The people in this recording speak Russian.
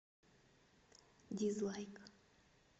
дизлайк